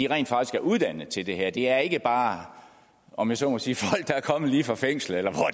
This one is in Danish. rent faktisk er uddannet til det her det er ikke bare om jeg så må sige folk der er kommet lige fra fængslet eller